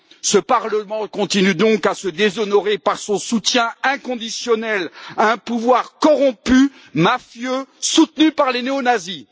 Ce Parlement continue donc à se déshonorer par son soutien inconditionnel à un pouvoir corrompu, mafieux, soutenu par les néonazis.